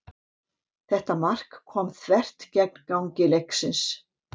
Þetta mark kom þvert gegn gangi leiksins.